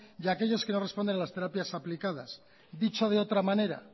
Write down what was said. y aquellos que no responden a las terapias aplicadas dicho de otra manera